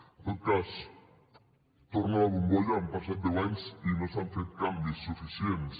en tot cas torna la bombolla han passat deu anys i no s’han fet canvis suficients